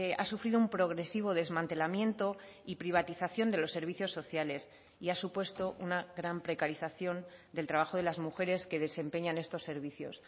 ha sufrido un progresivo desmantelamiento y privatización de los servicios sociales y ha supuesto una gran precarización del trabajo de las mujeres que desempeñan estos servicios